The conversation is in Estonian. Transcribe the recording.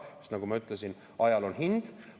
Sest nagu ma ütlesin, ajal on hind.